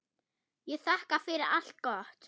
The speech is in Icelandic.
Ég þakka fyrir allt gott.